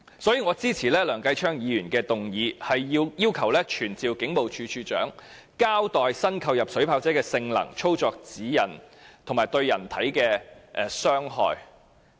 因此，我支持梁繼昌議員的議案，要求傳召警務處處長交代新購入的水炮車的性能、操作指引及對人體的傷害。